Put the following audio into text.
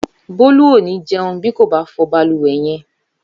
Bólú ò ní jẹun bí kò bá fọ balùwẹ̀ yẹn